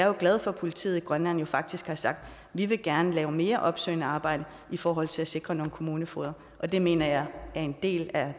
jo glad for at politiet i grønland faktisk har sagt vi vil gerne lave mere opsøgende arbejde i forhold til at sikre nogle kommunefogeder det mener jeg er en del af